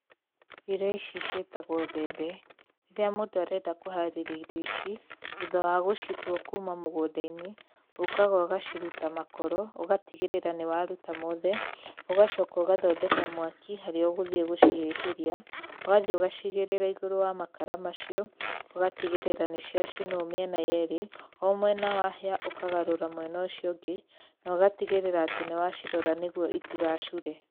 Ĩrio ici ciĩtagwo mbembe, rĩrĩa mũndũ arenda kũharĩria irio ici, thutha wa gũcitua kuuma mũgũnda-inĩ, ũkaga ũgacirita makoro, ũgatigĩrĩra nĩ waruta mothe, ũgacoka ũgathondeka mwaki harĩa ũgũthiĩ gũcihĩhĩria, ũgathiĩ ũgacigĩrĩra igũrũ wa makara macio, ũgatigĩrĩra nĩ ciacinwo mĩena yerĩ. O mwena wahĩa, ũkagarũra mwena ũcio ũngĩ, na ũgatigĩrĩra nĩ warora itigacure.